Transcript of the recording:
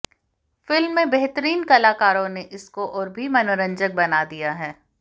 film में बेहतरीन कलाकारों ने इसको और भी मनोरंजक बना दिया है